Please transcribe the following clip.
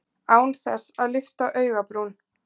Án þess að lyfta augabrún.